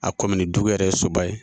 A dugu yɛrɛ ye Soba ye